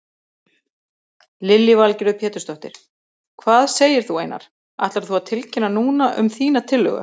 Lillý Valgerður Pétursdóttir: Hvað segir þú Einar, ætlar þú að tilkynna núna um þína tillögu?